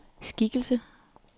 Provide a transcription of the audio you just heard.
skikkelse